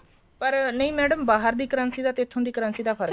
ਪਰ ਨਹੀਂ madam ਬਾਹਰ ਦੀ currency ਦਾ ਤੇ ਇੱਥੋ ਦੀ currency ਦਾ ਫ਼ਰਕ